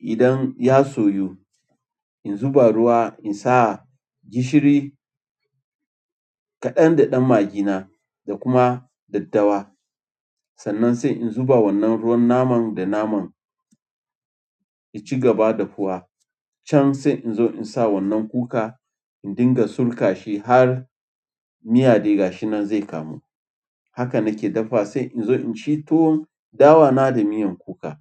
Idan ya soyu, in zuba ruwa in sa gishiri kaɗan da ɗan magina da kuma daddawa. Sannan sai in zuba wannan ruwan naman da naman, in ci gaba da fuwa can sai in zo in sa wannan kuka, in dinga sulka shi har miya dai gashi nan zai kamu. Haka na ke dafa sai in zo in ci tuwon dawana da miyan kuka.